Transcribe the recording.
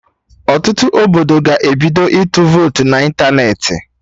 Ọtụtụ obodo ga-ebido ịtụ votu na ịntanetị